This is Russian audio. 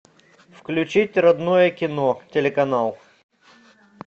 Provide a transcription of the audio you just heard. включить родное кино телеканал